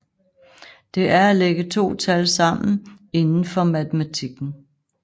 Det er at lægge to tal sammen inden for matematikken